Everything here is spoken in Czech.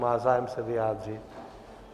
Má zájem se vyjádřit?